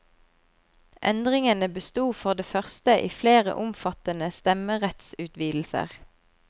Endringene bestod for det første i flere omfattende stemmerettsutvidelser.